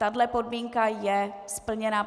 Tahle podmínka je splněna.